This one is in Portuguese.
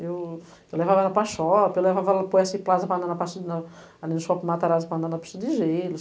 Eu eu levava ela para a shopping, eu levava ela para o S Plaza, para andar na parte na, ali no shopping Matarazzo, para andar na pista de gelo.